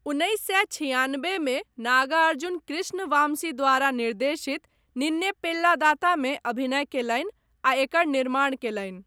उन्नैस सए छिआनबेमे, नागार्जुन कृष्ण वामसी द्वारा निर्देशित 'निन्ने पेल्लादाता' मे अभिनय कयलनि आ एकर निर्माण कयलनि।